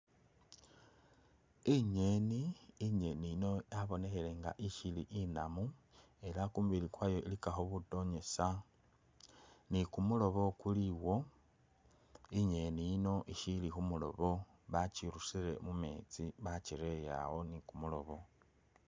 Inyeeni, inyeeni yino yabonekhele nga ishili inamu ela khumubili kwayo ilikakho butoneza ni kumulobo kuliwo inyeeni yino ishili khumulobo bakyirusile mumetsi bakyirele awo,